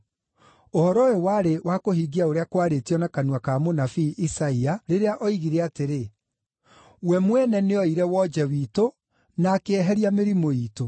Ũhoro ũyũ warĩ wa kũhingia ũrĩa kwaarĩtio na kanua ka mũnabii Isaia, rĩrĩa oigire atĩrĩ: “We mwene nĩoire wonje witũ, na akĩeheria mĩrimũ iitũ.”